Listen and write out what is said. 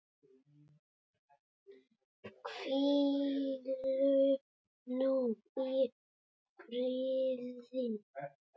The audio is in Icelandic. Hvíldu nú í friði.